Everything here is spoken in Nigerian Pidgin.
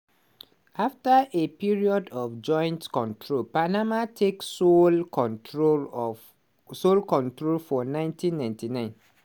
afta a period of joint control panama take sole control of sole control for 1999.